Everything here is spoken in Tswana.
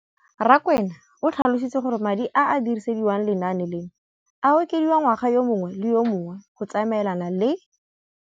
Rakwena o tlhalositse gore madi a a dirisediwang lenaane leno a okediwa ngwaga yo mongwe le yo mongwe go tsamaelana le.